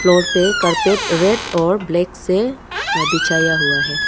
Road पे carpet red और black से बिछाया हुआ है।